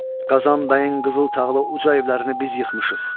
Qazan bəyin qızıl tağlı uca evlərini biz yıxmışıq.